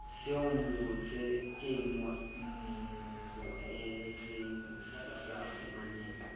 se omeletseng se sa fumaneng